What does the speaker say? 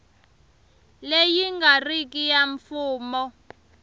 leyi nga riki ya mfumo